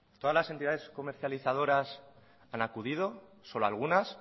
todas las entidades comercializadoras han acudido solo algunas